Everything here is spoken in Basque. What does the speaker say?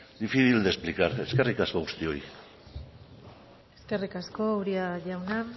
difícil de explicar eskerrik asko guztioi eskerrik asko uria jauna